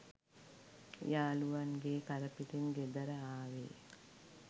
යාලුවන්ගේ කරපිටින් ගෙදර ආවේ